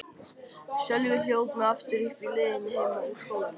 Sölvi hljóp mig aftur uppi á leiðinni heim úr skólanum.